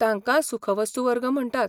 तांकां सुखवस्तू वर्ग म्हणटात.